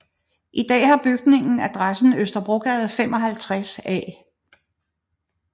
I dag har bygningen adressen Østerbrogade 55A